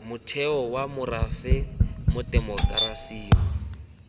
motheo wa morafe mo temokerasing